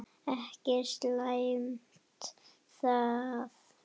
Ekki slæmt það.